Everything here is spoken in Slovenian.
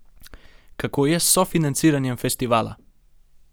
Kako je s sofinanciranjem festivala?